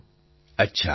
પ્રધાનમંત્રી અચ્છા